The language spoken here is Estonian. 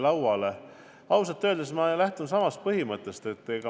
Aga ausalt öeldes ma lähtun samast põhimõttest.